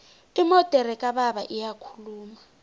imodere kababa iyakhuluma